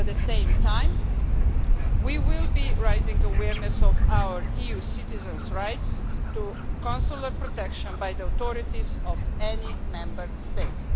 At the same time, we will be raising awareness of our EU citizens' right to consular protection by the authorities of any Member State.